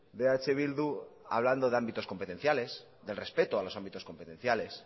de eh bildu hablando de ámbitos competenciales del respeto a los ámbitos competenciales